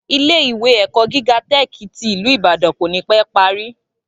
Ilé ìwé èkó gíga tẹ́ẹ̀kì tí ìlú Ìbàdàn kò ní pé parí